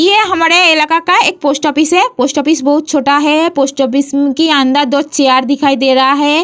ये हमारे इलाका का एक पोस्ट ऑफिस है पोस्ट ऑफिस बहुत छोटा है पोस्ट ऑफिस के अंदर दो चेयर दिखाई दे रहा है।